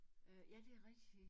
Øh ja det rigtig